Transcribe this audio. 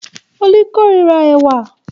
Olú kórira ẹ̀wà.